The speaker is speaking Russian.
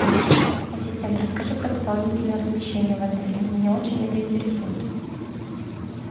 ассистент расскажи про дополнительное размещение в отеле меня очень это интересует